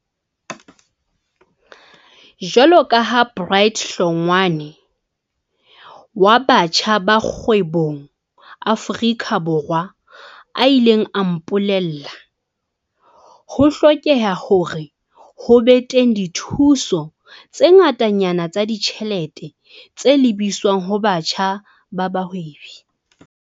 Jwaloka ha Bright Hlongwa ne wa Batjha ba Kgwebong Aforika Borwa a ile a mpole lla, ho hlokeha hore ho be teng dithuso tse ngatanyana tsa ditjhelete tse lebiswang ho batjha ba bahwebi.